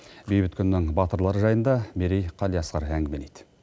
бейбіт күннің батырлары жайында мерей қалиасқар әңгімелейді